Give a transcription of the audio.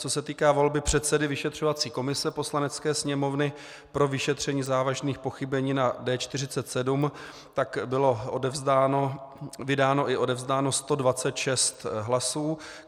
Co se týká volby předsedy vyšetřovací komise Poslanecké sněmovny pro vyšetření závažných pochybení na D47, bylo vydáno i odevzdáno 126 hlasů.